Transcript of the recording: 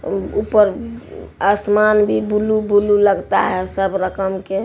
ऊपर आसमान भी ब्लू ब्लू लगता है सब रकम के--